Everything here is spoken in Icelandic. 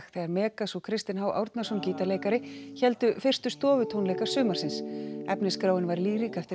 þegar Megas og Kristinn h Árnason gítarleikari héldu fyrstu sumarsins efnisskráin var lýrik eftir